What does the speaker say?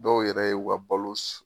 Dɔw yɛrɛ ye u ka balo s